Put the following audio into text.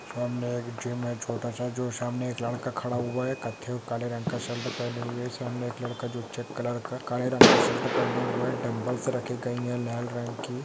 सामने एक जिम है छोटा सा जो सामने एक लड़का खड़ा हुआ है कच्चे और काले रंग का शर्ट पहने हुए सामने एक लड़का जो चेक क्लर्क काले रंग का शर्ट पहने हुए डंबल रखे गई है लाल रंग की।